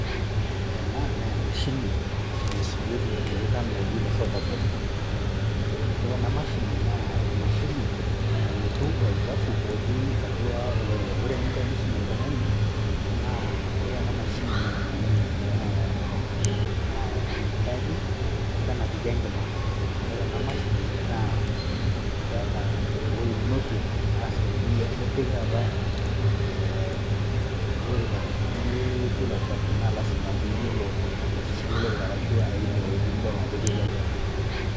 Ore ena naa emashini nasujieki ilorikan looji le sofa set, ore ena mashini naa emashini nayietu olchafu otii atua olorika. Ore eniko enisumi oltung'ani naa ore ena mashini naa enainyiang'uni naa enaichaaji ashu enapiki enkima ore ena mashini keeta ewuoi ninokie arashu nipik taata ee olorika neyietu ilo chafu naa lasima piiyiolo ai sugua olorika ashu aimie iwuejitin niyiolo ajo ketii olchafu.